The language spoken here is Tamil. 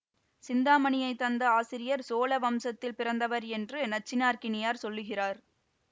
சிந்தாமணியைத் தந்த ஆசிரியர் சோழ வம்சத்தில் பிறந்தவர் என்று நச்சினார்க்கினியார் சொல்லுகிறார்